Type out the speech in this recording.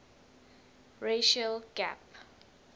racial gap